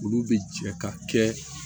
Olu bɛ jɛ ka kɛ